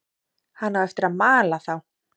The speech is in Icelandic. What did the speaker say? Hann á eftir að mala þá.